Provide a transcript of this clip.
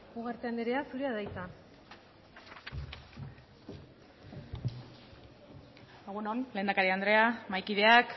ugarte andrea zurea da hitza egun on lehendakari andrea mahaikideak